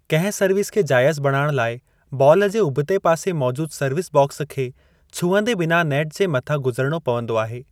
कंहिं सर्विस खे जाइज़ु बणाइण लाइ बाल खे उभते पासे मौजूदु सर्विस बॉक्स खे छुहंदे बिना नेट जे मथां गुज़रणो पवंदो आहे।